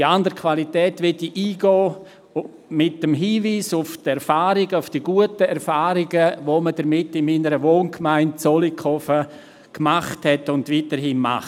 Auf diese andere Qualität möchte ich näher eingehen mit dem Hinweis auf die guten Erfahrungen, die man damit in meiner Wohngemeinde Zollikofen gemacht hat und weiterhin macht.